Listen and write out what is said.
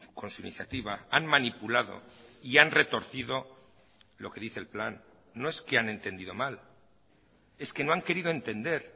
con su iniciativa han manipulado y han retorcido lo que dice el plan no es que han entendido mal es que no han querido entender